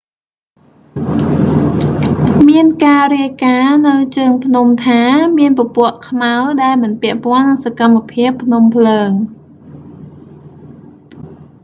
មានការរាយការណ៍នៅជើងភ្នំថា មានពពកខ្មៅដែលមិនពាក់ព័ន្ធនឹងសកម្មភាពភ្នំភ្លើង